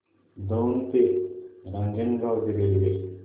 दौंड ते रांजणगाव रेल्वे